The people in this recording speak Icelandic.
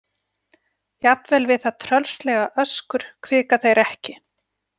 Jafnvel við það tröllslega öskur hvika þeir ekki.